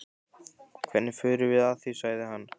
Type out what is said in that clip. Hvernig förum við að því? sagði hann.